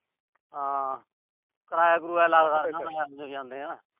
ਹਾਂ। ਕਿਰਾਇਆ ਕਿਰੂਆ ਲੱਗਦਾ ਆਉਂਦੇ ਜਾਂਦਿਆਂ।